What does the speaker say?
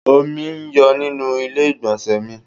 Omi ń yọ nínú ilé igbonse mi